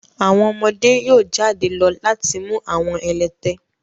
àwọn ọmọde yóò jade lọ lati mu àwọn ẹlẹtẹ